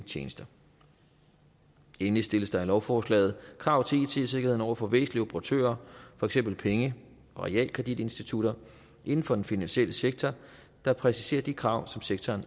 tjenester endelig stilles der i lovforslaget krav til it sikkerheden over for væsentlige operatører for eksempel penge og realkreditinstitutter inden for den finansielle sektor der præciserer de krav som sektoren